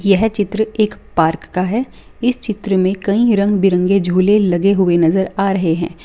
यह चित्र एक पार्क का है इस चित्र में कई रंग बिरंगे झूले लगे हुए नजर आ रहे हैं।